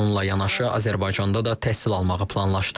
Bununla yanaşı Azərbaycanda da təhsil almağı planlaşdırır.